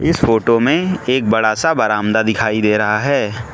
इस फोटो में एक बड़ा सा बरामदा दिखाई दे रहा है।